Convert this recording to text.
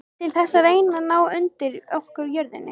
Til þess að reyna að ná undir okkur jörðinni?